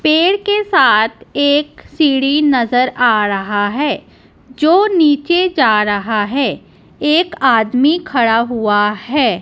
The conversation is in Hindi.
पेड़ के साथ एक सीढ़ी नजर आ रहा है जो नीचे जा रहा है एक आदमी खड़ा हुआ है।